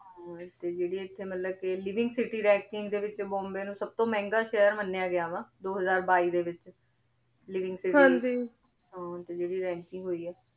ਹਨ ਤੇ ਏਥੇ ਮਤਲਬ ਜੇਰੀ ਏਥੇ living city ranking ਦੇ ਵਿਚ ਬੋਮ੍ਬੇ ਨੂ ਸਬ ਤੋਂ ਮੇਹ੍ਨ੍ਗਾ ਸ਼ੇਹਰ ਮਾਨ੍ਯ ਗਯਾ ਵਾ ਦੋ ਹਜ਼ਾਰ ਬੀ ਦੇ ਵਿਚ living city ਦੇ ਲੈ ਹਾਂ ਤੇ ਜੇਰੀ ranking ਹੋਈ ਆ